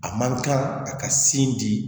A man kan a ka sin di